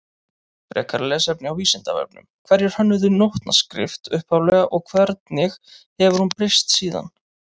Frekara lesefni á Vísindavefnum Hverjir hönnuðu nótnaskrift upphaflega og hvernig hefur hún breyst síðan?